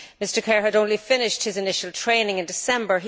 Mr Kerr had only finished his initial training in December